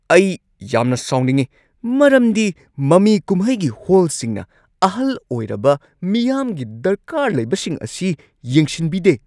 ꯑꯩ ꯌꯥꯝꯅ ꯁꯥꯎꯅꯤꯡꯉꯤ ꯃꯔꯝꯗꯤ ꯃꯃꯤ ꯀꯨꯝꯍꯩꯒꯤ ꯍꯣꯜꯁꯤꯡꯅ ꯑꯍꯜ ꯑꯣꯢꯔꯕ ꯃꯤꯌꯥꯝꯒꯤ ꯗꯔꯀꯥꯔ ꯂꯩꯕꯁꯤꯡ ꯑꯁꯤ ꯌꯦꯡꯁꯤꯟꯕꯤꯗꯦ꯫